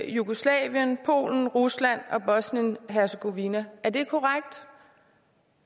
jugoslavien polen rusland og bosnien hercegovina er det korrekt